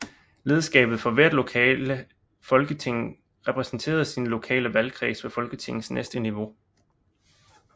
Lederskabet for hvert lokale folketing repræsenterede sin lokale valgkreds ved Folketingets næste niveau